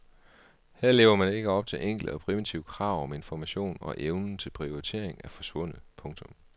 Her lever man ikke op til enkle og primitive krav om information og evnen til prioritering er forsvundet. punktum